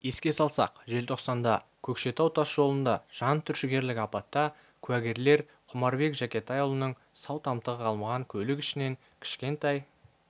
еске салсақ желтоқсанда көкшетау тас жолында жантүршігерлік апатта куәгерлер құмарбек жакетайұлының сау-тамтығы қалмаған көлік ішінен кішкентай